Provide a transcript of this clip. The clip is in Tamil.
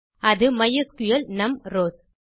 அது மைஸ்கிள் நும் ரவ்ஸ்